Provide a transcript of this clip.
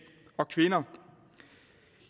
og kvinder